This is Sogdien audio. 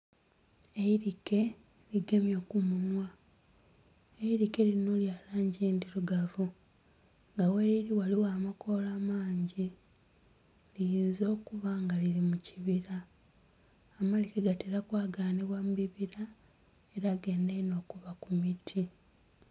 Eirike ligemye kumunhwa, eirike lino lya langi endhirugavu era gheriri ghaligho amakoola amangi liyinza okuba nga liri mukibira. Amalike gatera okwaganibwa mubibira era ganda inho okuba kumiti.